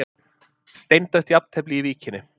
Steindautt jafntefli í Víkinni